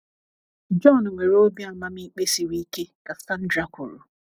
“ John nwere obi amamikpe siri ike, ” ka Sandra kwuru